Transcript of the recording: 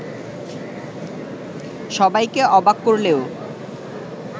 সবাইকে অবাক করলেও